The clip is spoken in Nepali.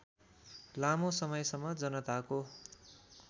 लामो समयसम्म जनताको